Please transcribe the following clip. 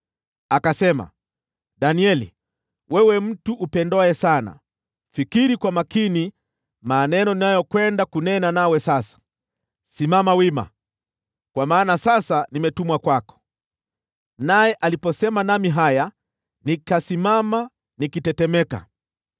Akasema, “Danieli, wewe mtu upendwaye sana, fikiri kwa makini maneno ninayokwenda kunena nawe sasa; simama wima, kwa maana sasa nimetumwa kwako.” Naye aliponiambia haya, nikasimama nikitetemeka.